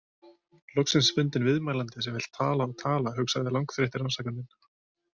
Loksins fundinn viðmælandi sem vill tala og tala, hugsaði langþreytti rannsakandinn.